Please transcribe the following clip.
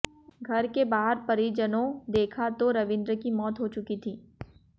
घर के बाहर परिजनों देखा तो रवींद्र की मौत हो चुकी थी